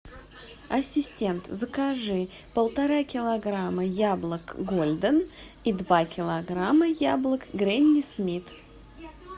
ассистент закажи полтора килограмма яблок гольден и два килограмма яблок гренни смит